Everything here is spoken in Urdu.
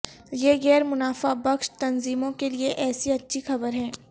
یہ غیر منافع بخش تنظیموں کے لئے ایسی اچھی خبر ہے